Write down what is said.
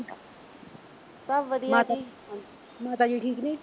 ਸਭ ਵਧੀਆ ਜੀ ਮਾਤਾ ਜੀ ਠੀਕ ਐ?